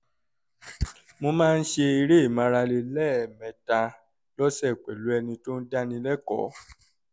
mo máa ń ṣe eré ìmárale lẹ́ẹ̀mẹta lọ́sẹ̀ pẹ̀lú ẹni tó ń dáni lẹ́kọ̀ọ́